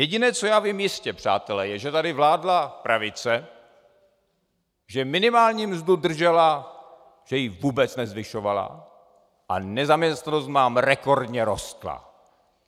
Jediné, co já vím jistě, přátelé, je, že tady vládla pravice, že minimální mzdu držela, že ji vůbec nezvyšovala, a nezaměstnanost nám rekordně rostla.